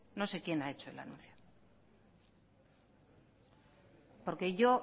no sé quién ha hecho anuncio porque yo